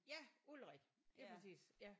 Ja Ulrik lige præcis ja